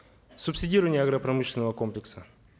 субсидирование агропромышленного комплекса